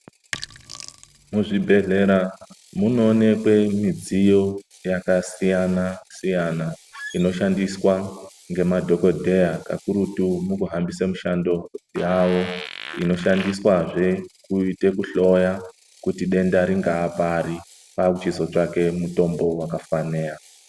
Muzvibhehlera munooneke midziyo yakasiyana siyana inoshandiswa ngemadhokodheya kakurutu mukuhambise mishando yavo. Kakurutu mukuhloya kuti denda ringava pari kwakuchizotsvaka mutombo vakafanira.